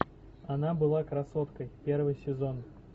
она была красоткой первый сезон